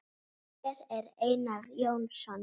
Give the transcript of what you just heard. Hver er Einar Jónsson?